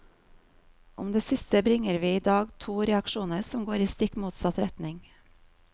Om det siste bringer vi i dag to reaksjoner som går i stikk motsatt retning.